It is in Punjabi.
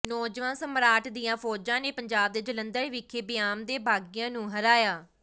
ਨੌਜਵਾਨ ਸਮਰਾਟ ਦੀਆਂ ਫ਼ੌਜਾਂ ਨੇ ਪੰਜਾਬ ਦੇ ਜਲੰਧਰ ਵਿਖੇ ਬਿਆਮ ਦੇ ਬਾਗ਼ੀਆਂ ਨੂੰ ਹਰਾਇਆ